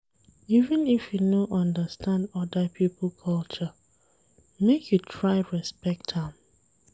Even if you no understand oda pipo culture, make you try respect am.